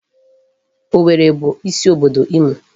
Owerri bụ isi obodo Imo.